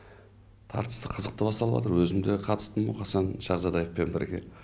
тартысты қызықты басталып жатыр өзім де қатыстым мұқасан шахзадаевпен бірге